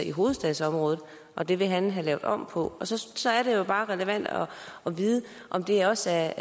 i hovedstadsområdet og det vil han have lavet om på og så så er det jo bare relevant at vide om det også